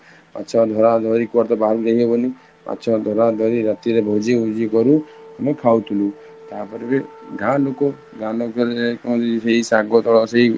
ଆଚାର ଧାରା ଧରି କୁଆଡେ ତ ବାହାରକୁ ଯାଇ ହବନି, ଧାରା ଧରି କରି ରାତି ରେ ଭୋଜି କରୁ ଆମେ ଖାଉଥିଲୁ, ତାପରେ ଏବେ ଗାଁ ଲୋକ ଗ୍ରାମ ରେ କଣ ସେଇ ଶାଗ ଦଳ ସେଇ